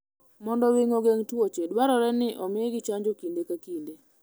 Mondo winy ogeng' tuoche, dwarore ni omigi chanjo kinde ka kinde.